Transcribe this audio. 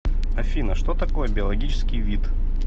афина что такое биологический вид